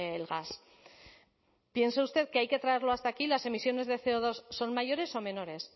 el gas piensa usted que hay que traerlo hasta aquí las emisiones de ce o dos son mayores o menores